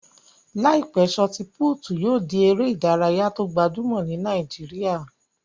Láìpẹ́, sọọti-pútù yóò di eré ìdárayá tó gbajúmọ̀ ní Nàìjíríyà